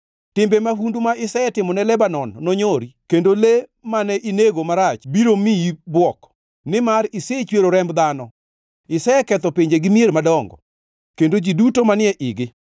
Timbe mahundu ma isetimone Lebanon nonyori kendo le mane inego marach biro miyi bwok. Nimar isechwero remb dhano, iseketho pinje gi mier madongo, kendo gi ji duto manie igi.